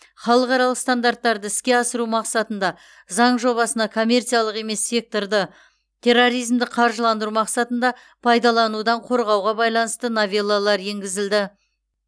халықаралық стандарттарды іске асыру мақсатында заң жобасына коммерциялық емес секторды терроризмді қаржыландыру мақсатында пайдаланудан қорғауға байланысты новеллалар енгізілді